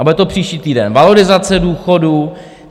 A bude to příští týden valorizace důchodů.